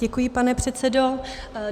Děkuji, pane předsedo.